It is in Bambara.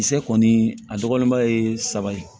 Kisɛ kɔni a dɔgɔnin ba ye saba ye